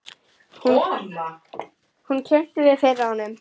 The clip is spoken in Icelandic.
Hún kynnti mig fyrir honum.